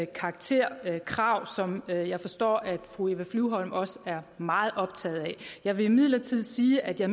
karakterkrav som jeg jeg forstår at fru eva flyvholm også er meget optaget af jeg vil imidlertid sige at jeg